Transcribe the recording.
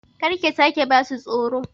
Kar ka sake ba su tsoro!